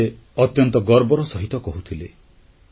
ଏକଥା ସେ ଅତ୍ୟନ୍ତ ଗର୍ବର ସହିତ କହୁଥିଲେ